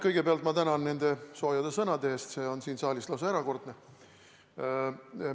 Kõigepealt ma tänan nende soojade sõnade eest, see on siin saalis lausa erakordne.